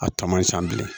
A ta man ca bilen